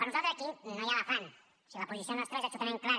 per nosaltres aquí no hi ha elefant o sigui la posició nostra és absolutament clara